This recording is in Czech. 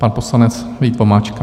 Pan poslanec Vít Vomáčka.